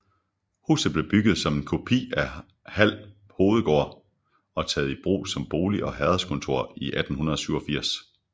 Huset blev bygget som en kopi af Hald Hovedgård og taget i brug som bolig og herredskontor i 1887